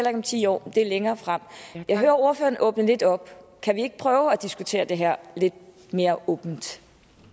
om ti år det er længere frem jeg hører at ordføreren åbner lidt op kan vi ikke prøve at diskutere det her lidt mere åbent